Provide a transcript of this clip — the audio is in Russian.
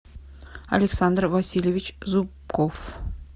александр васильевич зубков